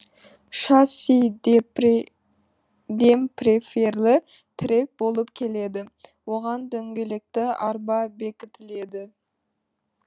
шасси демпферлі тірек болып келеді оған дөңгелекті арба бекітіледі